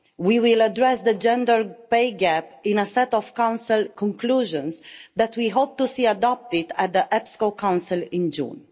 We will address the gender pay gap in a set of Council conclusions that we hope to see adopted at the EPSCO Council in June.